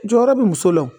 Jɔyɔrɔ bɛ muso la o